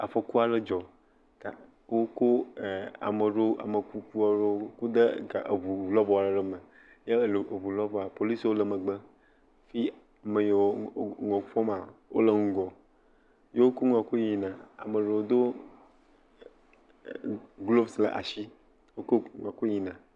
Afɔku aɖe dzɔ ga wokɔ e ame aɖewo ame kuku aɖewo kɔ de ga eŋu lɔbɔ aɖe me eye le eŋu lɔbɔa polisiwo le megbe fi ame yiwo nua fɔma wo le ŋgɔ. Ye wokɔ nua kɔ yina ame aɖewo do gloves ɖe asi. Wokɔ nua kɔ yina.